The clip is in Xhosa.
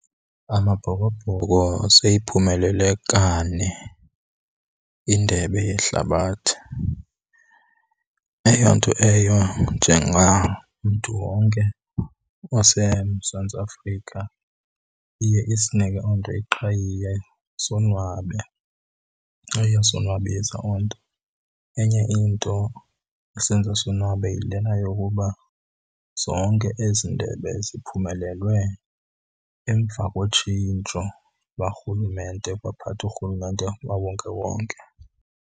AmaBhokobhoko seyiphumelele kane iNdebe yeHlabathi. Eyo nto eyo njengamntu wonke waseMzantsi Afrika iye isinike oo nto iqhayiya sonwabe, iyasonwabisa oo nto. Enye into esenza sonwabe yilena yokuba zonke ezi ndebe ziphumelelwe emva kotshintsho lukarhulumente kwaphatha urhulumente wawonkewonke.